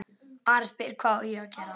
Ari spyr hvað ég geri.